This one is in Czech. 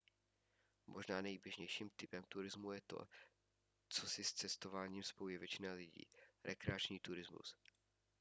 možná nejběžnějším typem turismu je to co si s cestováním spojuje většina lidí rekreační turismus